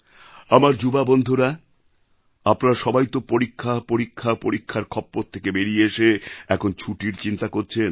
আমার যুবা বন্ধুরা আপনারা সবাই তো পরীক্ষাপরীক্ষাপরীক্ষার খপ্পর থেকে বেড়িয়ে এসে এখন ছুটির চিন্তা করছেন